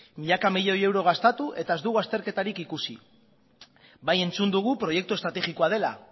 milaka milioi euro gastatu eta ez dugu azterketarik ikusi bai entzun dugu proiektu estrategikoa dela